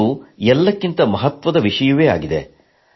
ಅದು ಎಲ್ಲಕ್ಕಿಂತ ಮಹತ್ವದ ವಿಷಯವಾಗಿದೆ